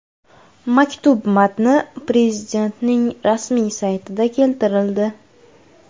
Maktub matni Prezidentning rasmiy saytida keltirildi .